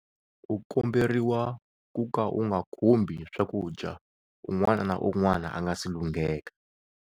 U komberiwa ku ka u nga khumbi swakudya un'wana na un'wana a nga si lungheka.